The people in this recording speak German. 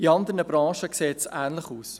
In anderen Branchen sieht es ähnlich aus.